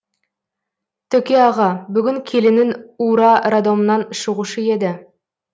төке аға бүгін келінің ура роддомнан шығушы еді